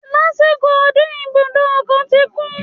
Lásìkò ọdún, ibùdó ọkọ̀ ti kún